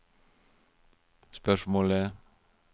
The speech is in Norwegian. spørsmålet